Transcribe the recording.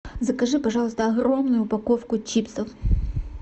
закажи пожалуйста огромную упаковку чипсов